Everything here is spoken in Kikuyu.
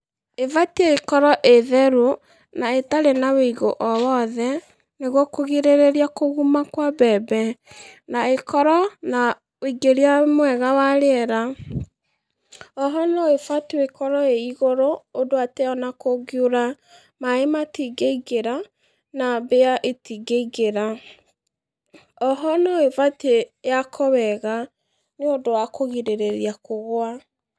Ĩbatiĩ ĩkorwo ĩ theru, an aĩtarí na wũigo o wothe, nĩguo kũgirĩrĩria kũguma kwa mbembe, na ĩkorwo na wũingĩria mwega wa rĩera, oho noĩbatiĩ ĩkorwo ĩ igũrũ ũndũ atĩ ona kũngiura, maĩ matingĩingĩra, na mbĩa itingĩingĩra, oho noĩbatiĩ yakwo wega nĩũndũ wa kũgirĩrĩria kũgũa.